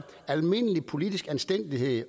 almindelig politisk anstændighed